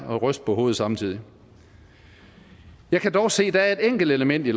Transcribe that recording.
og ryste på hovedet samtidig jeg kan dog se at der er et enkelt element i